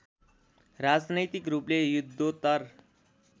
राजनैतिक रूपले युद्धोत्तर